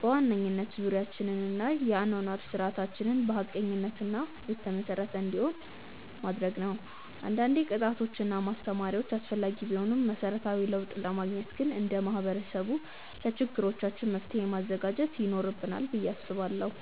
በዋናነት ዙሪያችንን እና የአኗኗር ስርዓታችንን በሀቀኝነት ላይ የተመሰረተ እንዲሆን ማድረግ ነው። አንዳንዴ ቅጣቶች እና ማስተማሪያዎች አስፈላጊ ቢሆኑም መሰረታዊ ለውጥ ለማግኘት ግን እንደ ማህበረሰብ ለችግሮቻችን መፍትሔ ማዘጋጀት ይኖርብናል ብዬ አስባለሁ።